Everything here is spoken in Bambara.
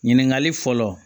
Ɲininkali fɔlɔ